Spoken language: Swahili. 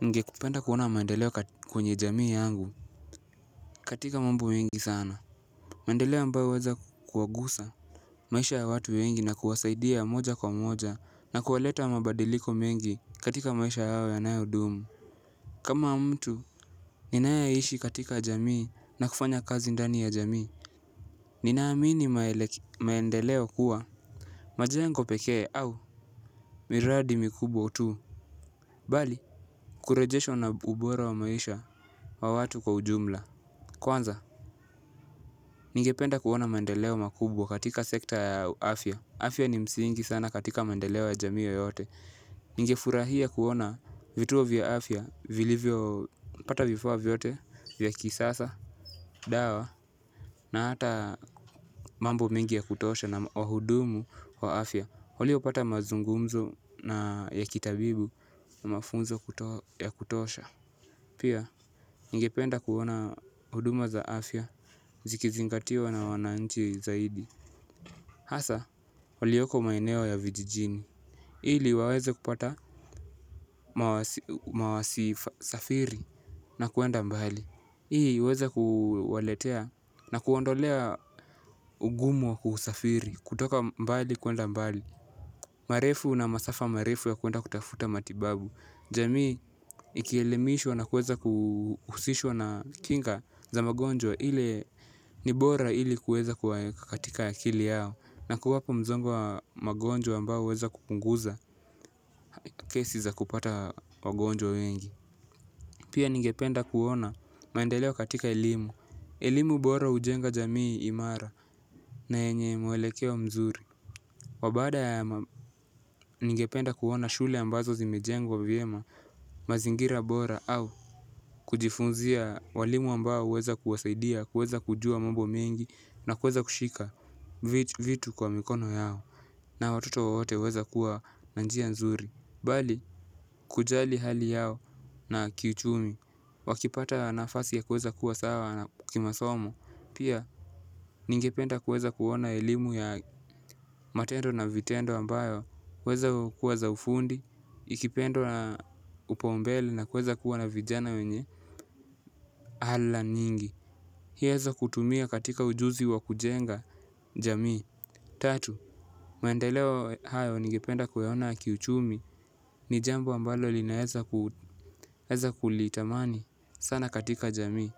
Ningekupenda kuona maendeleo kwenye jamii yangu. Katika mambo mingi sana mendeleo ambayo weza kuwagusa maisha ya watu wengi na kuwasaidia ya moja kwa moja na kuwaleta mabadiliko mengi katika maisha yao yanayo dumu. Kama mtu ninaiishi katika jamii na kufanya kazi ndani ya jamii. Ninaamini maendeleo kuwa majengo pekee au miradi mikubwa tu Bali Kurejeshwa na ubora wa maisha wa watu kwa ujumla. Kwanza, ningependa kuona maendeleo makubwa katika sekta ya afya. Afya ni msingi sana katika maendeleo ya jamii yoyote. Ninge furahia kuona vituo vya afya vilivyo pata vifaa vyote vya kisasa, dawa na hata mambo mengi ya kutosha na wahudumu kwa afya. Waliopata mazungumzo ya kitabibu na mafunzo ya kutosha. Pia, ningependa kuona huduma za afya, zikizingatiwa na wananchi zaidi. Hasa, walioko maeneo ya vijijini ili waweze kupata mawasi safiri na kuenda mbali ili waweze kuwaletea na kuondolea ugumu wa kusafiri, kutoka mbali kuenda mbali marefu na masafa marefu ya kuenda kutafuta matibabu. Jamii ikielemiishwa na kuweza kuhusishwa na kinga za magonjwa ile ni bora ili kuweza kukatika akili yao. Na kuwapo mzongo wa magonjwa ambao uweza kupunguza kesi za kupata magonjwa wengi. Pia ningependa kuona maendeleo katika elimu. Elimu bora ujenga jamii imara na yenye mwelekeo mzuri. Wabaada ningependa kuona shule ambazo zimejengwa vyema mazingira bora au kujifunzia walimu ambao uweza kuwasaidia, uweza kujua mambo mengi na uweza kushika vitu kwa mikono yao na watoto wowote uweza kuwa na njia nzuri. Bali, kujali hali yao na kiuchumi wakipata nafasi ya kuweza kuwa sawa na kimasomo. Pia, ningependa kuweza kuona elimu ya matendo na vitendo ambayo weza kuwa za ufundi, ikipendwa na upaumbele na kuweza kuwa na vijana wenye ala nyingi hieza kutumia katika ujuzi wa kujenga jamii. Tatu, maendeleo hayo ningependa kuyaona kiuchumi. Ni jambo ambalo linaeza kulitamani sana katika jamii.